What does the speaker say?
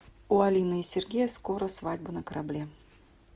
у алины и сергея скоро свадьба на корабле